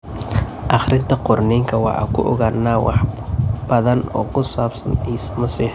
Akhrinta Qorniinka, waxaan ku ogaannaa wax badan oo ku saabsan Ciise Masiix.